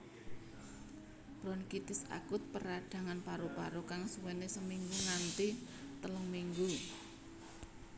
Bronkitis akut perdhangan paru paru kang suwéné seminggu nganti telung minggu